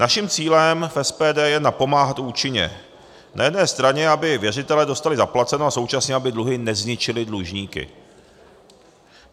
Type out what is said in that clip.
Naším cílem v SPD je napomáhat účinně, na jedné straně, aby věřitelé dostali zaplaceno, a současně, aby dluhy nezničily dlužníky.